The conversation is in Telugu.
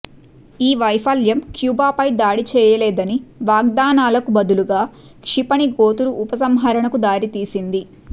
ఈ వైఫల్యం క్యూబాపై దాడి చేయలేదని వాగ్దానాలకు బదులుగా క్షిపణి గోతులు ఉపసంహరణకు దారితీసింది